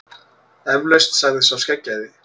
Eflaust, sagði sá skeggjaði.